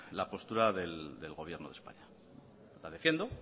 la postura del gobierno de españa la defiendo